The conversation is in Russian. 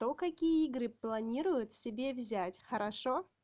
кто какие игры планируют себе взять хорошо